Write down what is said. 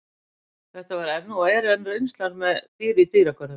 Þetta var og er enn reynslan með dýr í dýragörðum.